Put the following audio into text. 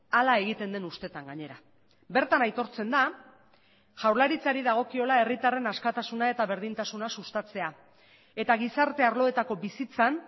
hala egiten den ustetan gainera bertan aitortzen da jaurlaritzari dagokiola herritarren askatasuna eta berdintasuna sustatzea etagizarte arloetako bizitzan